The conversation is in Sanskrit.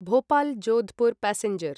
भोपाल् जोधपुर् पैसेंजर्